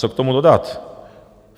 Co k tomu dodat?